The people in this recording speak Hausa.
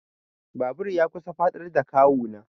Babur ya kusan faɗar da kawu na.